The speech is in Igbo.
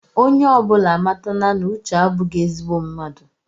Onye ọbụla amatala na uche abụghí ezigbo mmadụ